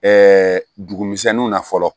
dugu misɛnninw na fɔlɔ